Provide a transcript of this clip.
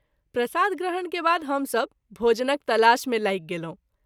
प्रसाद ग्रहण के बाद हम सभ भोजनक तलाश मे लागि गेलहुँ।